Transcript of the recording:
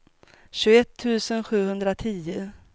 tjugoett tusen sjuhundratio